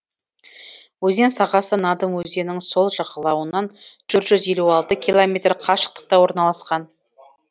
өзен сағасы надым өзенінің сол жағалауынан төрт жүз елу алты километр қашықтықта орналасқан